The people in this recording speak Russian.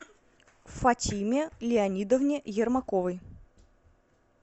фатиме леонидовне ермаковой